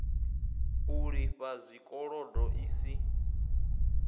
u lifha zwikolodo i si